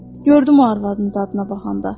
Gördüm o arvadın dadına baxanda.